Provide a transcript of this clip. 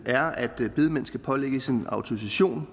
er at bedemænd skal pålægges en autorisation